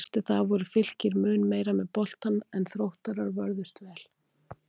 Eftir það voru Fylkir mun meira með boltann en Þróttarar vörðust vel.